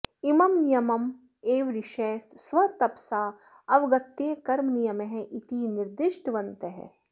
इमं नियमम् एव ऋषयः स्वतपसा अवगत्य कर्मनियमः इति निर्दिष्टवन्तः